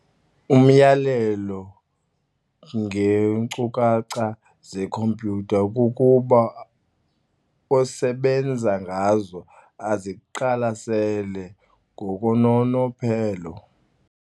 Umyalelo ngeeenkcukacha zekhompyutha kukuba osebenza ngazo aziqalasele ngokononophelo.